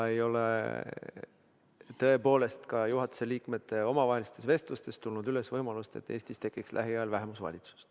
Ei ole tõepoolest ka juhatuse liikmete omavahelistes vestlustes tulnud juttu võimalusest, et Eestis tekiks lähiajal vähemusvalitsus.